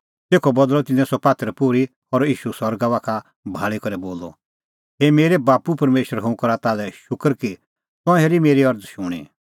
तेखअ बदल़अ तिन्नें सह पात्थर पोर्ही और ईशू सरगा बाखा भाल़ी करै बोलअ हे मेरै बाप्पू परमेशर हुंह करा ताल्है शूकर कि तंऐं हेरी मेरी अरज़ शूणीं